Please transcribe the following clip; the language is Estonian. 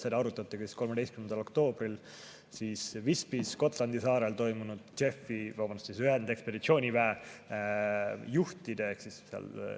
Seda arutati ka 13. oktoobril Visbys, Gotlandi saarel toimunud ühendekspeditsiooniväe juhtide.